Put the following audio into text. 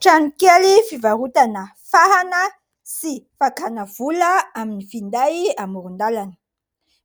Trano kely fivarotana fahana sy fakana vola amin'ny finday amoron-dalana.